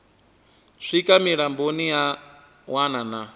swika mulamboni ya wana na